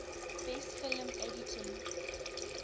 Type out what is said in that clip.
best film editing